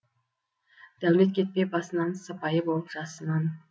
дәулет кетпей басынан сыпайы болып жасынан